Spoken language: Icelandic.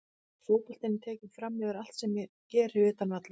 Fótboltinn er tekinn framyfir allt sem ég geri utan vallar.